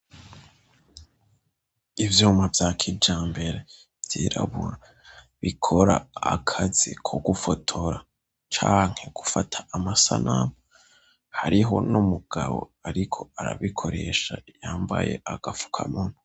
Ivyuma vya kijambere vyirabura, bikora akazi ko gufotora canke gufata amasanamu, hariho n'umugabo ariko arabikoresha yambaye agafukamunwa.